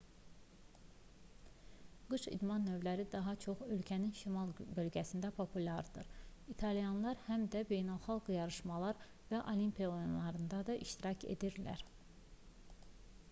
qış idman növləri daha çox ölkənin şimal bölgələrində populyardır. i̇talyanlar həm də beynəlxalq yarışlar və olimpiya oyunlarında da iştirak edirlər